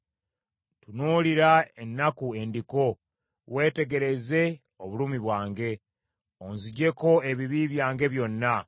Tunuulira ennaku endiko, weetegereze obulumi bwange; onzigyeko ebibi byange byonna.